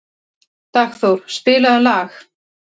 Dagþór, spilaðu lag.